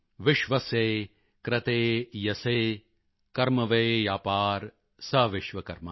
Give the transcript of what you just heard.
ਵਿਸ਼ਵਸਯ ਕ੍ਰਤੇ ਯਸਯ ਕਰਮਵਯਾਪਾਰ ਸ ਵਿਸ਼ਵਕਰਮਾ